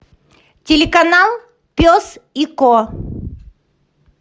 телеканал пес и ко